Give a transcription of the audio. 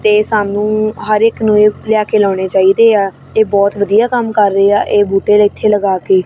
ਤੇ ਸਾਨੂੰ ਹਰ ਇੱਕ ਨੂੰ ਲਿਆ ਕੇ ਲਾਉਣੇ ਚਾਹੀਦੇ ਆ ਇਹ ਬਹੁਤ ਵਧੀਆ ਕੰਮ ਕਰ ਰਹੇ ਆ ਇਹ ਬੂਟੇ ਇੱਥੇ ਲਗਾ ਕੇ।